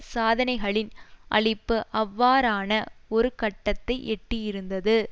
சாதனைகளின் அழிப்பு அவ்வாறான ஒரு கட்டத்தை எட்டியிருந்தது